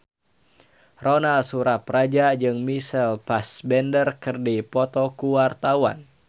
Ronal Surapradja jeung Michael Fassbender keur dipoto ku wartawan